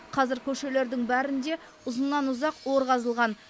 қазір көшелердің бәрінде ұзыннан ұзақ ор қазылған